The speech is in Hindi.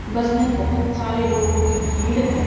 बस में बहोत सारे लोगों की भीड़ हैं।